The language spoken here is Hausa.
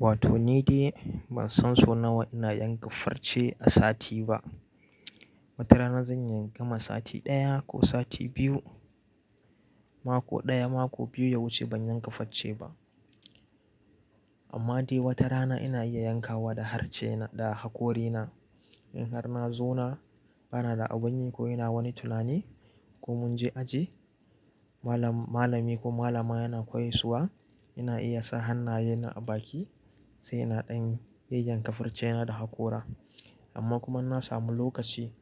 Wato ni dai ban san sau nawa ina yankafarce a sati ba. Wata rana zan iya gama sati ɗaya ko sati biyu, mako ɗaya, mako biyu ya wuce ban yankafacce ba. Amma dai wata rana ina iya yankawa da harshe da hakorina. In har na zauna ba na da abun yi ko ina wani tulani ko mun je aji, malam- malami ko malama yana koyaswa, ina iya sa hannaye na a baki sai ina ɗan yi yayyankafarcena da hakora. Amma kuma in na samu lokaci